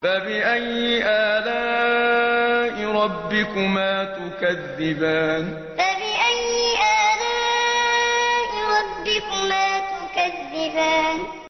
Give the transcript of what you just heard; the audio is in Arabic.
فَبِأَيِّ آلَاءِ رَبِّكُمَا تُكَذِّبَانِ فَبِأَيِّ آلَاءِ رَبِّكُمَا تُكَذِّبَانِ